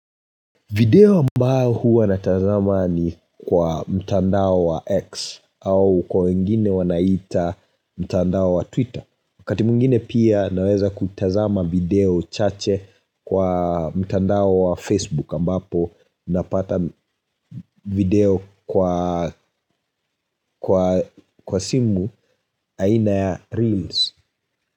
Video ambao huwa natazama ni kwa mtandao wa X ambao kwa wengine wanaita mtandao wa Twitter wakati mwingine pia naweza kutazama video chache kwa mtandao wa Facebook ambapo napata video kwa simu aina ya Reels.